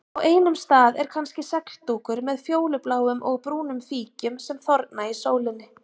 Á einum stað er kannski segldúkur með fjólubláum og brúnum fíkjum sem þorna í sólinni.